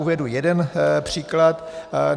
Uvedu jeden příklad.